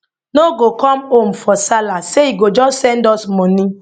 no go come home for sallah say e go just send us money